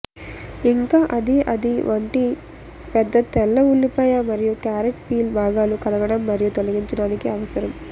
ఇంకా అది అది వంటి పెద్ద తెల్ల ఉల్లిపాయ మరియు క్యారట్ పీల్ భాగాలు కడగడం మరియు తొలగించడానికి అవసరం